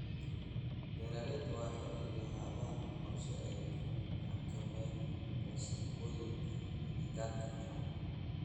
Beeralayda waa inay lahaadaan qorshe ay ku xakameynayaan wasakhowga agagaarka finan.